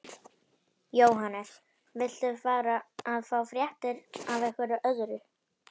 Jóhannes: Viltu fara að fá fréttir af einhverju öðru?